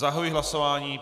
Zahajuji hlasování.